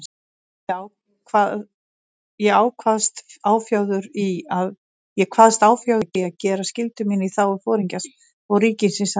Ég kvaðst áfjáður í að gera skyldu mína í þágu Foringjans og ríkisins að nýju.